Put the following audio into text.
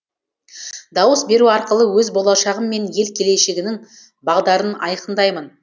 дауыс беру арқылы өз болашағым мен ел келешегінің бағдарын айқындаймын